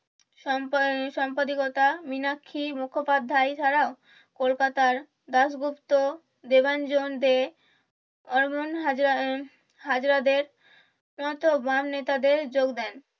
শম্পা সম্পাদিকতা মীনাক্ষী মুখোপাধ্যায় ছাড়াও কলকাতার দাস গুপ্ত দেবাঞ্জন দে হাজার বাম নেতারা যোগ দেন